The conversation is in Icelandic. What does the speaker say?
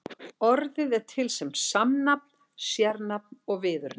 Orðið er til sem samnafn, sérnafn og viðurnefni.